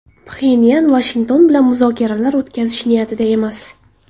Pxenyan Vashington bilan muzokaralar o‘tkazish niyatida emas.